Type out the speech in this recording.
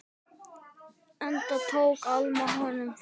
Enda tók Alma honum þannig.